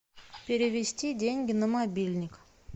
перевести деньги на мобильник